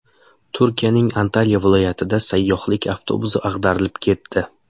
Turkiyaning Antalya viloyatida sayyohlik avtobusi ag‘darilib ketdi.